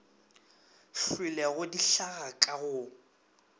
hlwelego di hlaga ka go